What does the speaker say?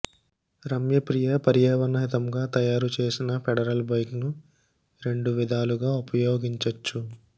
రమ్యప్రియ పర్యావరణ హితంగా తయారుచేసిన ఫెడరల్ బైక్ను రెండు విధాలుగా ఉపయోగించొచ్చు